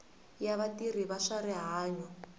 ya vatirhi va swa rihanyo